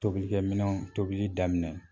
Tobilikɛminɛnw tobili daminɛ